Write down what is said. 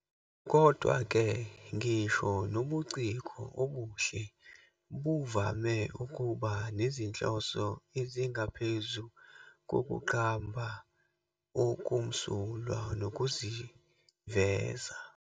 Kodwa-ke, ngisho nobuciko obuhle buvame ukuba nezinhloso ezingaphezu kokuqamba okumsulwa nokuziveza.